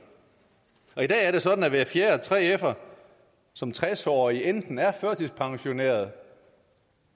i dag er det sådan at hver fjerde 3fer som tres årig enten er førtidspensioneret